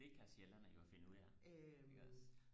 det kan sjællændere jo finde ud af iggås